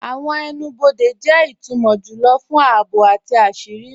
Awọn ẹnu-bọdẹ jẹ itumọ júlọ̀ fún ààbò àti àṣírí.